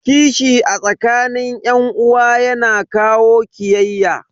Kishi a tsakanin yan uwa yana kawo kiyayya.